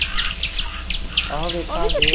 ਆਹੋ ਵੇਖਾਂਗੇ